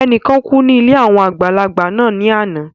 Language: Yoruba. Ẹnìkan kú ní ilé àwọn àgbàlagbà náà ní ana